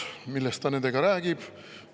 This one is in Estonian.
Millest ta nendega räägib?